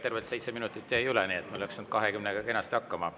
Tervelt 7 minutit jäi üle, nii et te saite 20 kenasti hakkama.